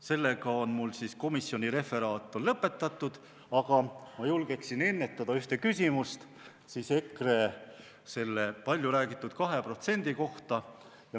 Sellega on mul komisjoni referaat lõpetatud, aga ma julgeksin ennetada ühe küsimuse EKRE palju räägitud 2% kohta.